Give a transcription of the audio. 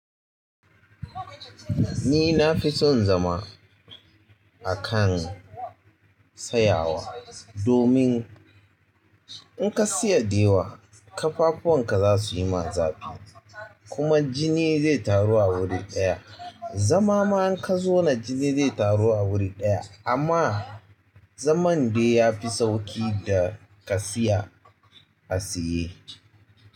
Ni na fi son zama a kan tsayawa domin, in ka siya de yawa, ƙafafuwan ka za su yi ma zafi, kuma jini zai taru a wuri ɗaya. Zama ma in ka zauna jini zai taru a wuri ɗaya amma zaman de ya fi sauƙi da ka tsaya a tsaye.